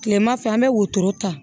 Kilema fɛ an be wotoro ta